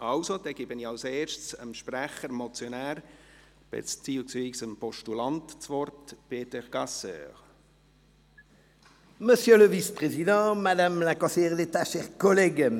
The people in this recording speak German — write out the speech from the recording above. – Dann gebe ich dem Sprecher und Motionär, beziehungsweise dem Postulanten, Peter Gasser, das Wort.